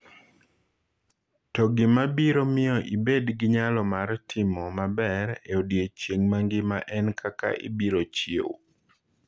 To gima biro miyo ibed gi nyalo mar timo maber e odiechieng’ mangima en kaka ibiro chiew.